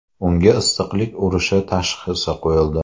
Unga issiqlik urishi tashxisi qo‘yildi.